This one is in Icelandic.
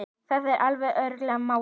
Það er alveg öruggt mál.